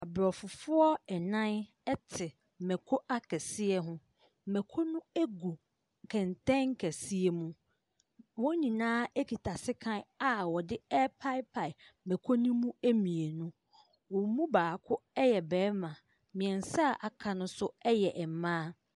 Aborɔfofoɔ nnan te mako akɛseɛ ho. Mako no gu kɛntɛn kɛseɛ mu. Wɔn nyinaa kita sekan a wɔde repaepae makoo no mu mmienu. Wɔn mu baako yɛ barima. Mmeansa a wɔaka no nso yɛ mmaa.